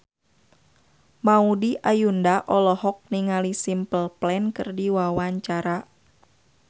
Maudy Ayunda olohok ningali Simple Plan keur diwawancara